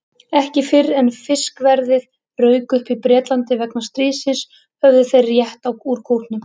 Ekki fyrr en fiskverðið rauk upp í Bretlandi vegna stríðsins höfðu þeir rétt úr kútnum.